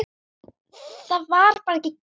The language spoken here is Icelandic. Það var bara ekki gert.